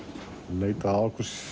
leitað að okkur